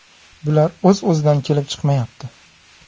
Bular o‘z-o‘zidan kelib chiqmayapti.